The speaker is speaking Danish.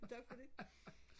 tak for det